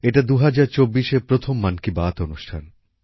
এটা ২০২৪এর প্রথম মন কি বাত অনুষ্ঠান